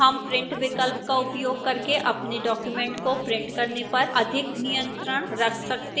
हम print विकल्प का उपयोग करके अपने document को print करने पर अधिक नियंत्रण रख सकते हैं